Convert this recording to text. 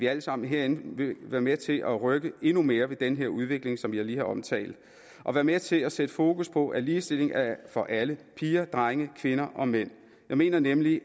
alle sammen herinde vil være med til at rykke endnu mere ved den her udvikling som jeg lige har omtalt og være med til at sætte fokus på at ligestilling er for alle piger drenge kvinder og mænd jeg mener nemlig